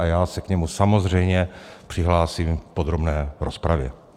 A já se k němu samozřejmě přihlásím v podrobné rozpravě.